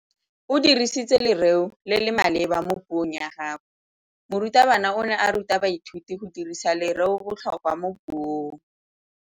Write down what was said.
O dirisitse lerêo le le maleba mo puông ya gagwe. Morutabana o ne a ruta baithuti go dirisa lêrêôbotlhôkwa mo puong.